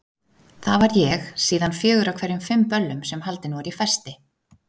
Það var ég síðan fjögur af hverjum fimm böllum sem haldin voru í Festi.